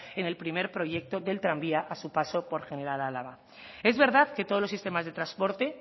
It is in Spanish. en el primer proyecto del tranvía a su paso por general álava es verdad que todos los sistemas de transporte